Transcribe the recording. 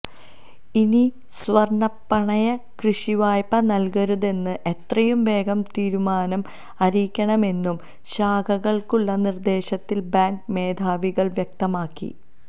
ഇനി സ്വര്ണപ്പണയ കൃഷിവായ്പ നല്കരുതെന്നും എത്രയും വേഗം തീരുമാനം അറിയിക്കണമെന്നും ശാഖകള്ക്കുള്ള നിര്ദേശത്തില് ബാങ്ക് മേധാവികള് വ്യക്തമാക്കി